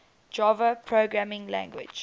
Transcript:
java programming language